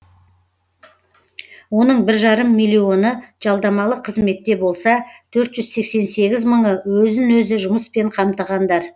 оның бір жарым миллионы жалдамалы қызметте болса төрт жүз сексен сегіз мыңы өзін өзі жұмыспен қамтығандар